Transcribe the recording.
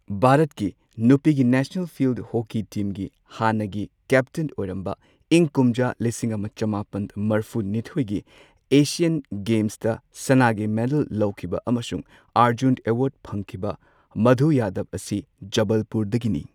ꯚꯥꯔꯠꯀꯤ ꯅꯨꯄꯤꯒꯤ national field hockey ꯇꯤꯝꯒꯤ ꯍꯥꯟꯅꯒꯤ ꯀꯦꯞꯇꯦꯟ ꯑꯣꯏꯔꯝꯕ, ꯏꯪ ꯀꯨꯝꯖꯥ ꯂꯤꯁꯤꯡ ꯑꯃ ꯆꯃꯥꯄꯟ ꯃꯔꯐꯨ ꯅꯤꯊꯣꯏꯒꯤ ꯑꯦꯁꯤꯌꯟ ꯒꯦꯝꯁꯇ ꯁꯅꯥꯒꯤ ꯃꯦꯗꯜ ꯂꯧꯈꯤꯕ ꯑꯃꯁꯨꯡ ꯑꯔꯖꯨꯟ ꯑꯦꯋꯥꯔꯗ ꯐꯪꯈꯤꯕ ꯃꯙꯨ ꯌꯥꯗꯕ ꯑꯁꯤ ꯖꯕꯜꯄꯨꯔꯗꯒꯤꯅꯤ꯫